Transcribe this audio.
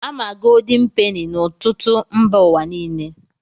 A ma goldin peni na ọtụtụ mba ụwa niile.